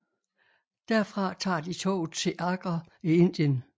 Derfra tager de toget til Agra i Indien